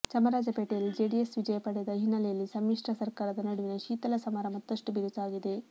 ಚಾಮರಾಜಪೇಟೆಯಲ್ಲಿ ಜೆಡಿಎಸ್ ವಿಜಯಪಡೆದ ಹಿನ್ನೆಲೆಯಲ್ಲಿ ಸಮ್ಮಿಶ್ರ ಸರ್ಕಾರದ ನಡುವಿನ ಶೀತಲ ಸಮರ ಮತ್ತಷ್ಟು ಬಿರುಸಾಗಿದೆ